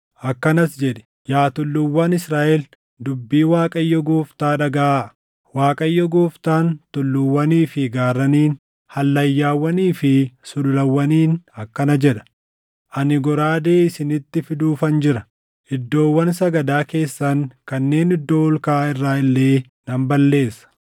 akkanas jedhi; ‘Yaa tulluuwwan Israaʼel, dubbii Waaqayyo Gooftaa dhagaʼaa. Waaqayyo Gooftaan tulluuwwanii fi gaarraniin, hallayyaawwanii fi sululawwaniin akkana jedha: Ani goraadee isinitti fiduufan jira; iddoowwan sagadaa keessan kanneen iddoo ol kaʼaa irraa illee nan balleessa.